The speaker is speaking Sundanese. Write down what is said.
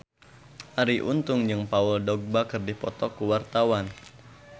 Arie Untung jeung Paul Dogba keur dipoto ku wartawan